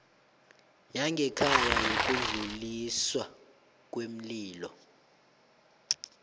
yangekhaya yokudluliswa kweenlilo